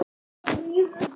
Við því lægju háar sektir.